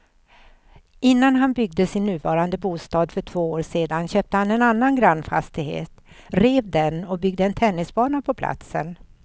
Innan han byggde sin nuvarande bostad för två år sedan köpte han en annan grannfastighet, rev den och byggde en tennisbana på platsen.